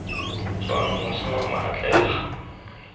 tswang moše wa mawatle ga